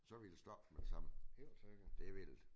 Så ville det stoppe med det samme. Det ville det